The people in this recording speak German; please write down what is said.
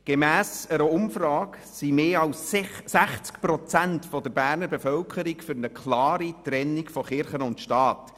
Gemäss einer Umfrage sind mehr als 60 Prozent der Berner Bevölkerung für eine klare Trennung von Kirche und Staat.